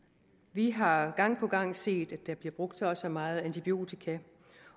vi har gang på gang set at der bliver brugt så og så meget antibiotika